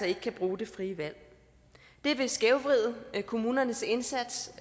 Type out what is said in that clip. ikke kan bruge det frie valg det vil skævvride kommunernes indsats